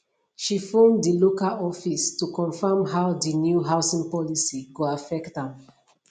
she phone dil local office to confirm how di new housing policy go affect am